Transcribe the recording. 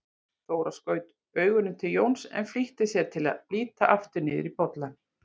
Þóra skaut augunum til Jóns, en flýtti sér að líta aftur niður í bollann.